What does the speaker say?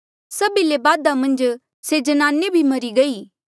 सभी ले बादा मन्झ से ज्नाने भी मरी गई